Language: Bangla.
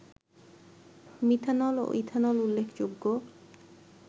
মিথানল ও ইথানল উল্লেখযোগ্য